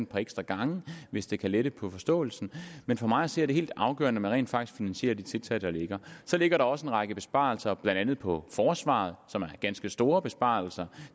par ekstra gange hvis det kan lette på forståelsen men for mig at se er det helt afgørende at man rent faktisk finansierer de tiltag der ligger så ligger der også en række besparelser blandt andet på forsvaret som er ganske store besparelser